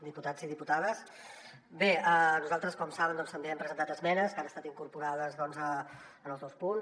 diputats i diputades bé nosaltres com saben també hem presentat esmenes que han estat incorporades en els dos punts